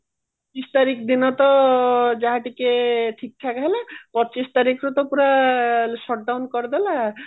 ପଚିଶ ତାରିଖ ଦିନ ତ ଯାହା ଟିକେ ଠିକ ଠାକ ହେଲା ପଚିଶ ତାରିଖରୁ ରୁ ପୁରା shutdown କରିଦେଲା